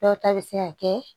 Dɔw ta bɛ se ka kɛ